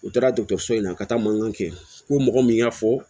U taara dɔkɔtɔrɔso in na ka taa mankan kɛ u ko mɔgɔ min y'a fɔ